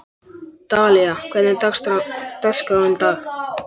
Dalía, hvernig er dagskráin í dag?